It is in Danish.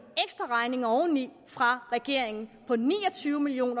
ekstraregning oveni fra regeringen på ni og tyve million